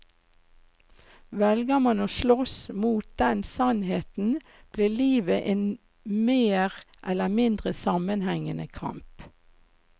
Velger man å slåss mot den sannheten, blir livet en mer eller mindre sammenhengende kamp.